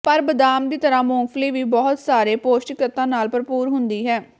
ਪਰ ਬਦਾਮ ਦੀ ਤਰ੍ਹਾਂ ਮੂੰਗਫਲੀ ਵੀ ਬਹੁਤ ਸਾਰੇ ਪੌਸ਼ਟਿਕ ਤੱਤਾਂ ਨਾਲ ਭਰਪੂਰ ਹੁੰਦੀ ਹੈ